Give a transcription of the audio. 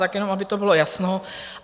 Tak jenom, aby to bylo jasno.